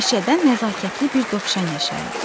Meşədə nəzakətli bir dovşan yaşayırdı.